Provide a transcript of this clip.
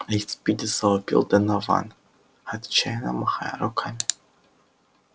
эй спиди завопил донован отчаянно махая руками